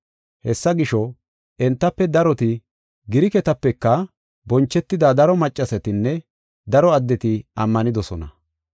Hessa gisho, entafe daroti, Giriketapeka bonchetida daro maccasatinne daro addeti ammanidosona.